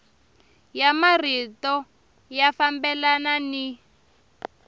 ya marito ya fambelana ni